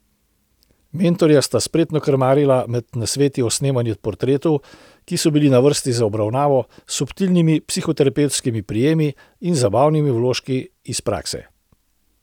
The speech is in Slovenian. Mentorja sta spretno krmarila med nasveti o snemanju portretov, ki so bili na vrsti za obravnavo, subtilnimi psihoterapevtskimi prijemi in zabavnimi vložki iz prakse.